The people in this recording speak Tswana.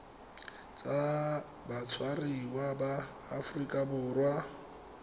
tsa batshwariwa ba aforika borwa